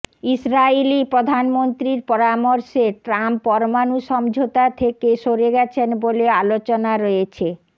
ইসরাইলি প্রধানমন্ত্রীর পরামর্শে ট্রাম্প পরমাণু সমঝোতা থেকে সরে গেছেন বলে আলোচনা রয়েছে